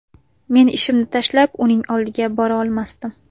Men ishimni tashlab uning oldiga bora olmasdim.